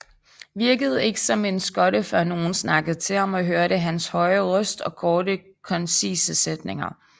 Virkede ikke som en skotte før nogen snakkede til ham og hørte hans høje røst og korte koncise sætninger